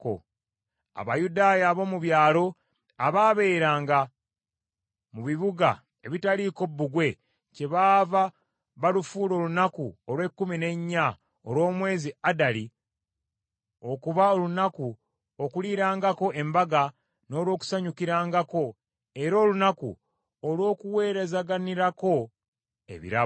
Abayudaaya ab’omu byalo abaabeeranga mu bibuga ebitaaliiko bbugwe kyebaava bafuula olunaku olw’ekkumi n’ennya olw’omwezi Adali okuba olunaku okuliirangako embaga n’olw’okusanyukirangako, era olunaku olw’okuweerazaganirako ebirabo.